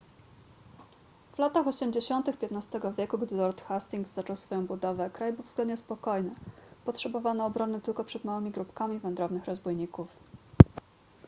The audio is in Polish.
w latach osiemdziesiątych xv wieku gdy lord hastings zaczął swoją budowę kraj był względnie spokojny potrzebowano obrony tylko przed małymi grupkami wędrownych rozbójników